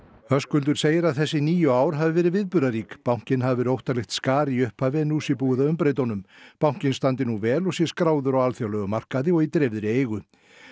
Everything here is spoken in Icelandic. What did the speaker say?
Höskuldur segir að þessi níu ár hafi verið viðburðarík bankinn hafi verið óttalegt skar í upphafi en nú sé búið að umbreyta honum bankinn standi nú vel og sé skráður á alþjóðlegum markaði og í dreifðri eigu